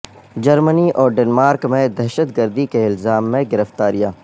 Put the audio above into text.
جرمنی اور ڈنمارک میں دہشت گردی کے الزام میں گرفتاریاں